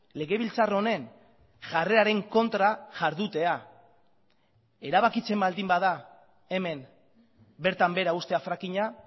legebiltzar honen jarreraren kontra jardutea erabakitzen baldin bada hemen bertan behera uztea frackinga